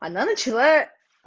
она начала